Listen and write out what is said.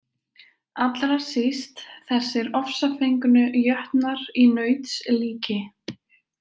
Allra síst þessir ofsafengnu jötnar í nauts líki.